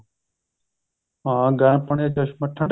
ਹਾਂ ਗਰਮ ਪਾਣੀ ਦਾ ਚਸ਼ਮਾ ਠੰਡੇ